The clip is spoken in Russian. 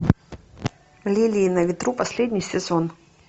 лилии на ветру последний сезон